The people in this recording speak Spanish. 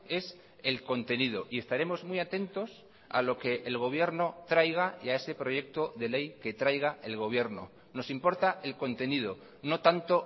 es el contenido y estaremos muy atentos a lo que el gobierno traiga y a ese proyecto de ley que traiga el gobierno nos importa el contenido no tanto